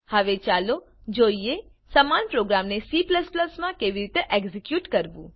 હવે ચાલો જોઈએ સમાન પ્રોગ્રામને C માં કેવી રીતે એક્ઝેક્યુટ કરવું